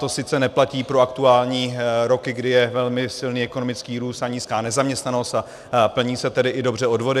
To sice neplatí pro aktuální roky, kdy je velmi silný ekonomický růst a nízká nezaměstnanost, a plní se tedy dobře i odvody.